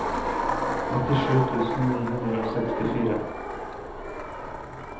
nittisju tusen ni hundre og sekstifire